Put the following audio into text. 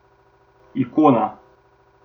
Ikona.